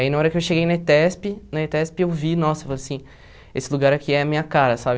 Aí na hora que eu cheguei na ETESP, na ETESP eu vi, nossa, eu falei assim, esse lugar aqui é a minha cara, sabe?